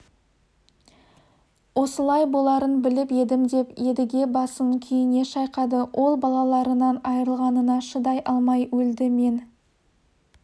осылай боларын біліп едім деп едіге басын күйіне шайқады ол балаларынан айырылғанына шыдай алмай өлді мен